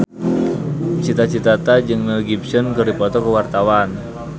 Cita Citata jeung Mel Gibson keur dipoto ku wartawan